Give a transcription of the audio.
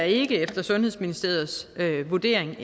ikke efter sundhedsministeriets vurdering